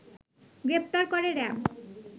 গ্রেফতার করে র‌্যাব